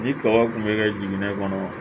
Ni tɔgɔ kun bɛ kɛ jiginɛ kɔnɔ